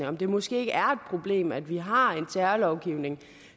om det måske er problem at vi har en terrorlovgivning